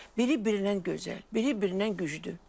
Biribirindən gözəl, biribirindən güclü.